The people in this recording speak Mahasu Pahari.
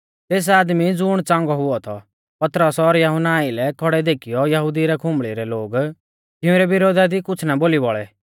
तेस आदमी ज़ुण च़ांगौ हुऔ थौ पतरस और यहुन्ना आइलै खौड़ै देखीयौ यहुदिऊ रै खुंबल़ी रै लोग तिंउरै विरोधा दी कुछ़ ना बोली बौल़ै